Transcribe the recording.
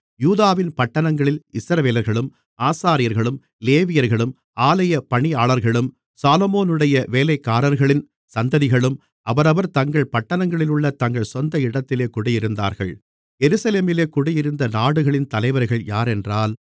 யூதாவின் பட்டணங்களில் இஸ்ரவேலர்களும் ஆசாரியர்களும் லேவியர்களும் ஆலயப் பணியாளர்களும் சாலொமோனுடைய வேலைக்காரர்களின் சந்ததிகளும் அவரவர் தங்கள் பட்டணங்களிலுள்ள தங்கள் சொந்த இடத்திலே குடியிருந்தார்கள் எருசலேமிலே குடியிருந்த நாடுகளின் தலைவர்கள் யாரென்றால்